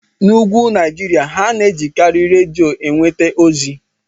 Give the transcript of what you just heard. N'úgwù Naijiria, ha na-ejikarị redio enweta ozi.